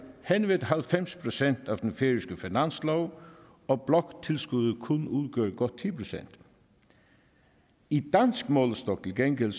hen ved halvfems procent af den færøske finanslov og bloktilskuddet kun udgør godt ti procent i dansk målestok til gengæld